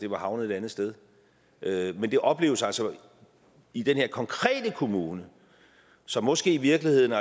var havnet et andet sted men det opleves altså i den her konkrete kommune som måske i virkeligheden